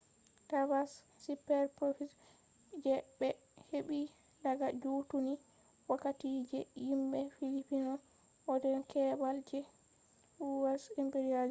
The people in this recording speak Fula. tabbas superprofits je ɓe heɓi daga juttunni wakkati je himɓe filipino hautan keɓal je u,s. imperialism